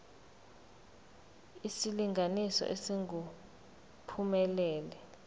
isilinganiso esingu uphumelele